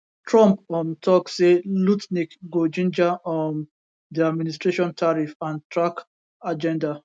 trump um tok say lutnick go ginger um di administration tarriff and track agenda